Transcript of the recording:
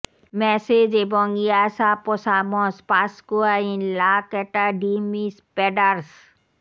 message এবং ইয়াসা পসামস পাসকুয়া ইন লা ক্যাটা ডি মিস প্যাডারস